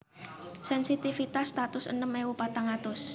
Sensitivitas satus enem ewu patang atus